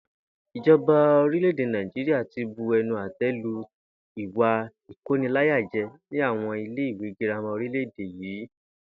Ìjo̩ba orílè̩-èdè Nàìjíríà ti bu e̩nu àté̩ lu ìwà ìkóniláyáje̩ ní àwo̩n ilé ìwé girama orílè̩-èdè yìí